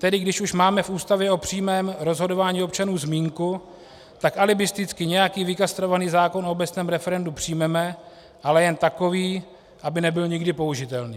Tedy když už máme v Ústavě o přímém rozhodování občanů zmínku, tak alibisticky nějaký vykastrovaný zákon o obecném referendu přijmeme, ale jen takový, aby nebyl nikdy použitelný.